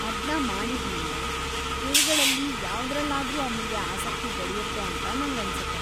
ಅದ್ನ ಮಾಡಿದ್ಮೇಲೆ, ಇವ್ಗಳಲ್ಲಿ ಯಾವ್ದ್ರಲ್ಲಾದ್ರೂ ಅವ್ನಿಗೆ ಆಸಕ್ತಿ ಬೆಳೆಯುತ್ತೆ ಅಂತ ನಂಗನ್ಸುತ್ತೆ.